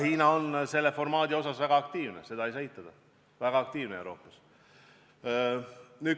Hiina on selle formaadi asjus Euroopas väga aktiivne, seda ei saa eitada.